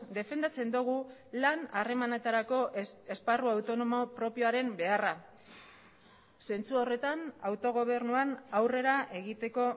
defendatzen dugu lan harremanetarako esparru autonomo propioaren beharra zentzu horretan autogobernuan aurrera egiteko